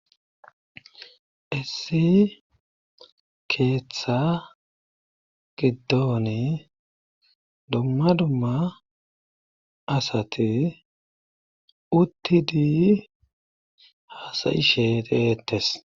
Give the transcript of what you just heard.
issi keeththa giddoni dumma dumma asati uttidi haasayishe eeettes.